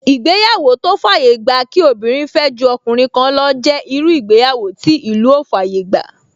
Ìgbéyàwó tó fàyè gba kí obìnrin fẹ́ ju ọkùnrin kan lọ jẹ́ irú ìgbéyàwó tí ìlú ò fàyè gbà